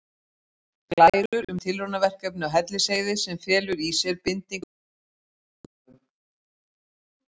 Glærur um tilraunaverkefni á Hellisheiði sem felur í sér bindingu kolefnis í jarðlögum.